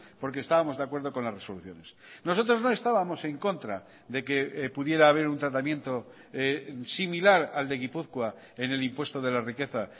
porque estábamos de acuerdo con las resoluciones nosotros no estábamos en contra de que pudiera haber un tratamiento similar al de gipuzkoa en el impuesto de la riqueza